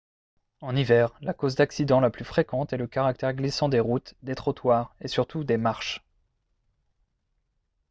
en hiver la cause d'accidents la plus fréquente est le caractère glissant des routes des trottoirs et surtout des marches